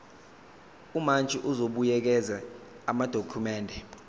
umantshi uzobuyekeza amadokhumende